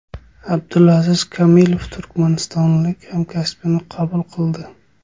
Abdulaziz Komilov turkmanistonlik hamkasbini qabul qildi.